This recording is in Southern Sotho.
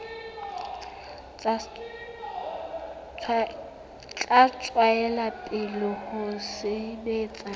tla tswela pele ho sebetsa